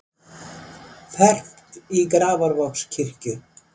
Fermt í Grafarvogskirkju